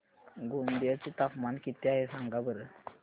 गोंदिया चे तापमान किती आहे सांगा बरं